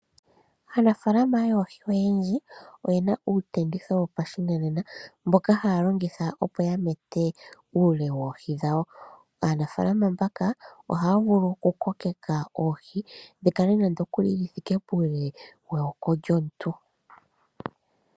Aanafaalama yoohi oyendji , oyena uutenditho wopashinanena mboka haya longitha opo yamete uule woohi dhawo. Aanafaalama mbaka ohaya vulu okukokeka oohi dhikale nande okuli dhithike puule weyako lyomuntu.